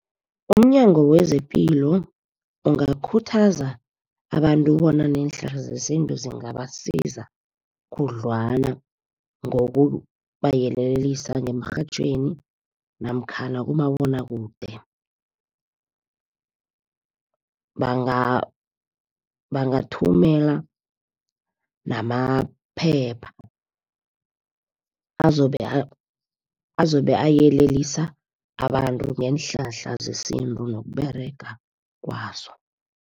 UmNyango wezePilo, ungakhuthaza abantu bona neenhlahla zesintu zingabasiza khudlwana. Ngokubayelelisa ngemrhatjhweni, namkhana kumabonwakude. Bangathumela namaphepha azobe ayelelisa abantu ngeenhlahla zesintu nokUberega kwazo.